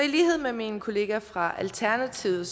i lighed med min kollega fra alternativet